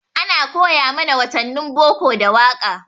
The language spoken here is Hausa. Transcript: Ana koya mana watannin boko da waƙa.